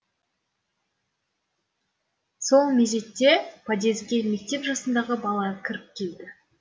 сол мезетте подъезге мектеп жасындағы бала кіріп келді